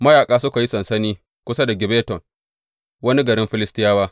Mayaƙa suka yi sansani kusa da Gibbeton, wani garin Filistiyawa.